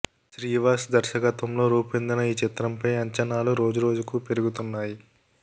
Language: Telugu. శ్రీవాస్ దర్శకత్వంలో రూపొందిన ఈ చిత్రంపై అంచనాలు రోజు రోజుకు పెరుగుతున్నాయి